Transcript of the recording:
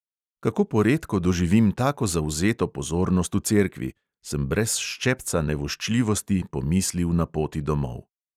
Kako poredko doživim tako zavzeto pozornost v cerkvi, sem brez ščepca nevoščljivosti pomislil na poti domov.